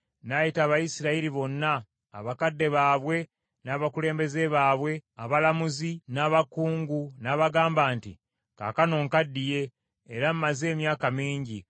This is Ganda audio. n’ayita Abayisirayiri bonna, abakadde baabwe n’abakulembeze baabwe, abalamuzi n’abakungu n’abagamba nti, “Kaakano nkaddiye era mmaze emyaka mingi;